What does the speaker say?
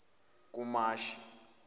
kumashi